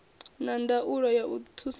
na ndaulo ya u thusedza